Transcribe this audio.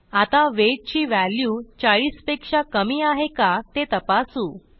आता वेट ची व्हॅल्यू 40 पेक्षा कमी आहे का ते तपासू